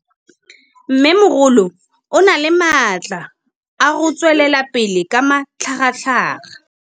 Mmêmogolo o na le matla a go tswelela pele ka matlhagatlhaga.